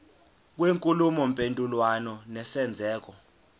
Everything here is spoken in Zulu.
kwenkulumo mpendulwano nesenzeko